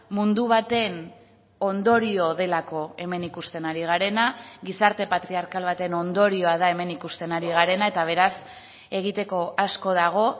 mundu baten ondorio delako hemen ikusten ari garena gizarte patriarkal baten ondorioa da hemen ikusten ari garena eta beraz egiteko asko dago